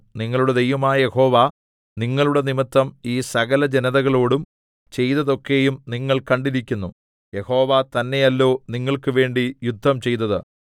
നിങ്ങളുടെ ദൈവമായ യഹോവ നിങ്ങളുടെ നിമിത്തം ഈ സകലജനതകളോടും ചെയ്തതൊക്കെയും നിങ്ങൾ കണ്ടിരിക്കുന്നു യഹോവ തന്നെയല്ലോ നിങ്ങൾക്കുവേണ്ടി യുദ്ധം ചെയ്തത്